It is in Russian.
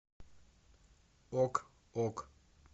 ок ок